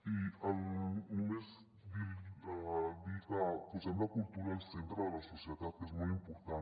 i només dir que posem la cultura al centre de la societat que és molt important